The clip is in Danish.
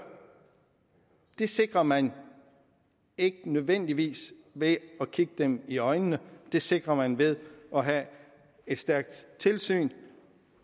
det sikrer man ikke nødvendigvis ved at kigge dem i øjnene det sikrer man ved at have et stærkt tilsyn